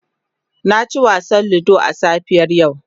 Na ci wasan ludo a safiyar yau.